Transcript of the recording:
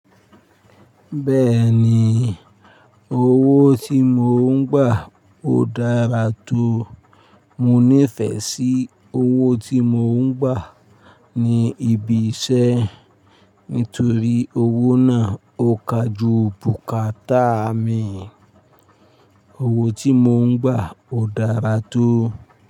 Bẹ́ẹ̀ni, owó tí mò ń gbà ó dára tó. Mò nífẹsí owó tí mò ń gbà ní ibi iṣẹ́ nítorí owó náà ó ka ju bùkátà mi. Owó tí mò ń gbà ó dára tó.